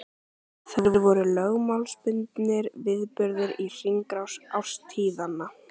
Þær voru lögmálsbundnir viðburðir í hringrás árstíðanna.